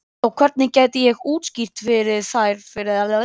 Og hvernig gæti ég útskýrt þær fyrir henni þegar hún stækkaði?